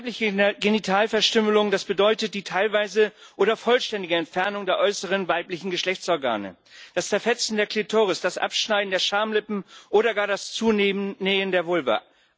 Weibliche Genitalverstümmelung, das bedeutet die teilweise oder vollständige Entfernung der äußeren weiblichen Geschlechtsorgane, das Zerfetzen der Klitoris, das Abschneiden der Schamlippen oder gar das Zunähen der Vulva.